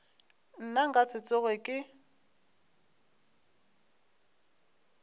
nna nka se tsoge ke